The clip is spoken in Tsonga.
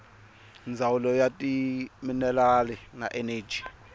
ndzawulo ya timinerali na eneji